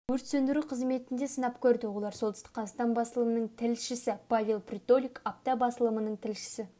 өрт сөндіру қызметінде сынап көрді олар солтүстік қазақстан басылымының тілшісі павел притолюк апта басылымының тілшісі